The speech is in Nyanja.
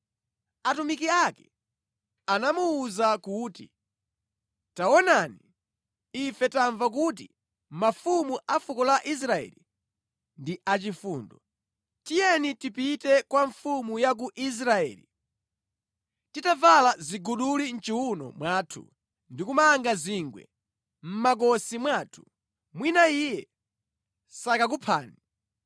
Atumiki ake anamuwuza kuti, “Taonani, ife tamva kuti mafumu a fuko la Israeli ndi achifundo. Tiyeni tipite kwa mfumu ya ku Israeli titavala ziguduli mʼchiwuno mwathu ndi kumanga zingwe mʼmakosi mwathu. Mwina iye sakakuphani.”